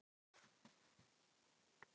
Ég vil spila fótbolta og skora mörk.